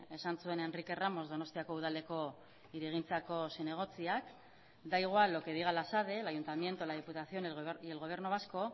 esan zuen enrique ramos donostiako udaleko hirigintzako zinegotziak da igual lo que diga la sade el ayuntamiento la diputación y el gobierno vasco